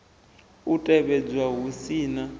u tevhedzwa hu si na